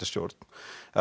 stjórn